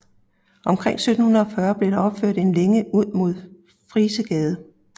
Omkring 1740 blev der opført en længe ud mod Frisegade